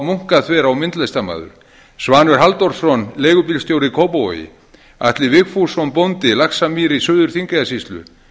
munkaþverá myndlistarmaður svanur halldórsson leigubílstjóri kópavogi atli vigfússon bóndi laxamýri suður þingeyjarsýslu